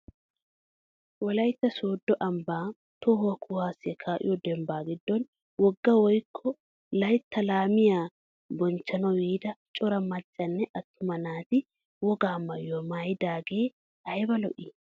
Wolaytta sooddo ambbaa toho kuwaasiyaa ka'iyoo dembbaa giddon wogaa woykko layttaa laamiyaa bochchanwu yiida cora maccanne attuma naati woga maayuwaa maayidogee ayba lo"ii!